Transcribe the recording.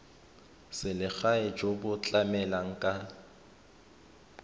selegae jo bo tlamelang ka